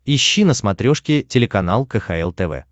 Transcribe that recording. ищи на смотрешке телеканал кхл тв